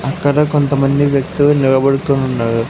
అక్కడ కొంతమంది వ్యక్తులు నిలబడుకోనున్నారు.